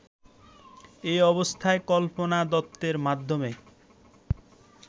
এ অবস্থায় কল্পনা দত্তের মাধ্যমে